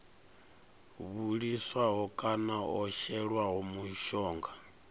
vhiliswaho kana o shelwaho mushonga